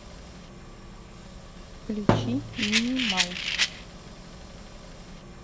включи минимал